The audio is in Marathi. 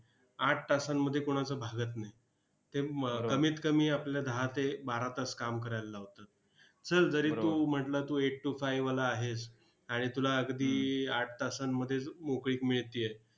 आठ तासांमध्ये कुणाचं भागत नाही. ते म कमीत कमी आपलं दहा ते बारा तास काम करायला लावतात. चल, जरी तू म्हटलंस तू eight to five वाला आहेस, आणि तुला अगदी आठ तासांमध्येच मोकळीक मिळतेय,